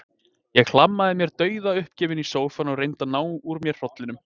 Ég hlammaði mér dauðuppgefin í sófann og reyndi að ná úr mér hrollinum.